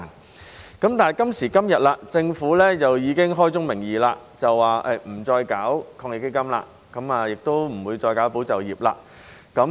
但是，政府今時今日已經開宗明義說不會再推出防疫抗疫基金，亦不會再推出"保就業"計劃。